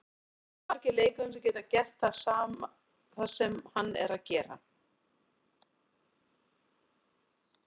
Það eru ekki margir leikmenn sem geta gert það sem hann er að gera.